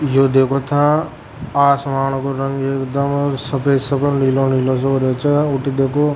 यो देखो था आसमांन का रंग एकदम सफ़ेद सफ़ेद नीला नीला होरा च और ऊटी देखो --